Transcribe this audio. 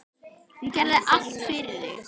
Hún gerði allt fyrir þig.